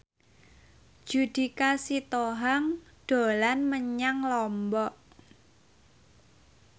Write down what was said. Judika Sitohang dolan menyang Lombok